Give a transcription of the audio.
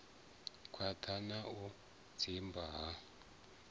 khwaṱha na u zwimba ha